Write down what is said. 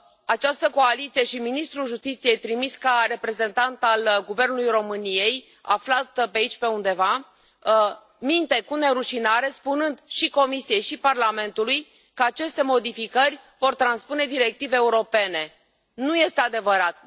Această coaliție și ministrul justiției, trimis ca reprezentant al guvernului României, aflat pe aici pe undeva, minte cu nerușinare, spunând și Comisiei și Parlamentului că aceste modificări vor transpune directive europene. Nu este adevărat.